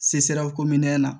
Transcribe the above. Se sera kominɛn na